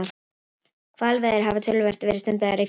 Hvalveiðar hafa töluvert verið stundaðar í Færeyjum.